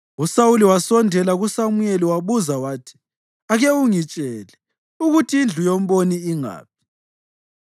USawuli wasondela kuSamuyeli wabuza wathi, “Ake ungitshele ukuthi indlu yomboni ingaphi.”